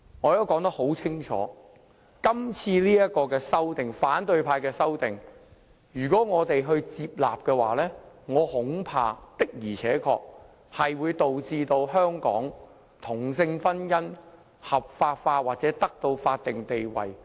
我已說得很清楚，如果我們接納今次反對派提出的修正案，我恐怕確實會導致同性婚姻在香港合法化或得到法定地位。